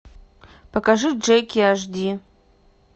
покажи джеки аш ди